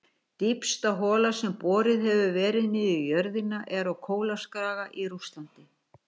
Dýpsta hola sem boruð hefur verið niður í jörðina er á Kólaskaga í Rússlandi.